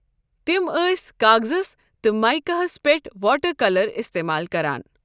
تِم ٲسۍ کاغزَس تہٕ مایکاہس پیٚٹھ واٹر کَلر اِستعمال کَران۔